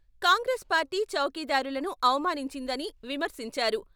Congress party చౌకీదారులను అవమానించిదని విమర్శించారు.